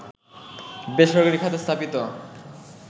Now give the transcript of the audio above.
বেসরকারি খাতে স্থাপিত